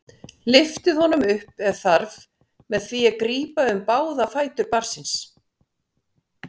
Lyftið honum upp ef þarf með því að grípa um báða fætur barnsins.